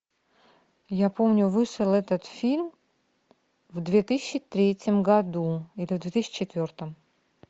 я помню вышел этот фильм в две тысячи третьем году или в две тысячи четвертом